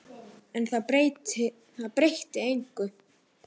En það breytti engu.